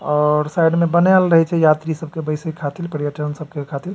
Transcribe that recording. और साइड में बनल रहील छै यात्री सब के बैसे खातिर पर्यटन सब के खातिर।